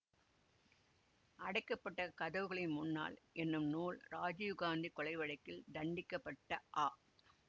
அடைக்க பட்ட கதவுகளின் முன்னால் என்னும் நூல் இராஜீவ் காந்தி கொலை வழக்கில் தண்டிக்கப்பட்ட அ